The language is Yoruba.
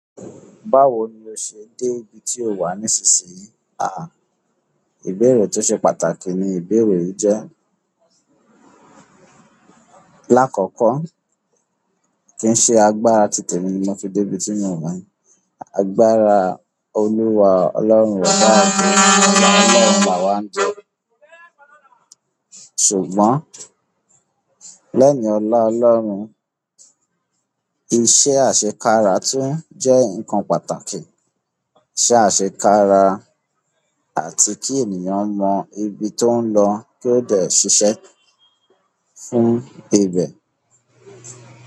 Báwo ni o ṣe dé ibi tí ó wà nísinsìnyí? Ìbèrè tí ó ṣe pàtàkì ni ìbèrè yìí jẹ́. Láàkọ́kọ́, kí n ṣe agbára tìtẹ̀ emi ni mo fi dé ibi tí mo wà. Agbára Olúwa Ọlọ́run baba àgba ola Ọlọ́run làwá ń jẹ. Ṣùgbọ́n lẹ́hin ọlá Ọlọ́run, iṣẹ́ àṣekára tún jẹ́ e nǹkan pàtàkì. Iṣẹ́ àṣekára àti kí ènìyàn mọ ibi tó ń lọ kí ó dè ṣiṣẹ́ fún ibẹ̀.